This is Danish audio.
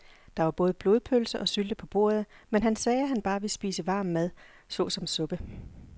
Der var både blodpølse og sylte på bordet, men han sagde, at han bare ville spise varm mad såsom suppe.